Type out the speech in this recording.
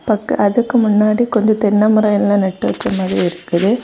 க்கு அதுக்கு முன்னாடி கொஞ்சம் தென்ன மரம் எல்லாம் நட்டு வச்ச மாதிரி இருக்குது.